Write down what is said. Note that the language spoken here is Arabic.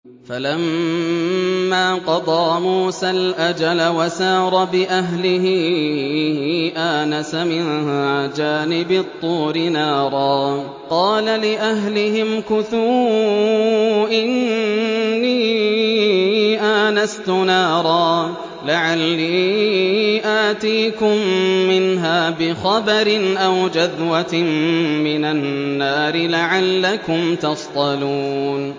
۞ فَلَمَّا قَضَىٰ مُوسَى الْأَجَلَ وَسَارَ بِأَهْلِهِ آنَسَ مِن جَانِبِ الطُّورِ نَارًا قَالَ لِأَهْلِهِ امْكُثُوا إِنِّي آنَسْتُ نَارًا لَّعَلِّي آتِيكُم مِّنْهَا بِخَبَرٍ أَوْ جَذْوَةٍ مِّنَ النَّارِ لَعَلَّكُمْ تَصْطَلُونَ